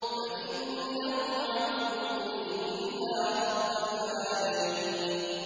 فَإِنَّهُمْ عَدُوٌّ لِّي إِلَّا رَبَّ الْعَالَمِينَ